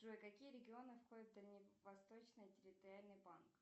джой какие регионы входят в дальневосточный территориальный банк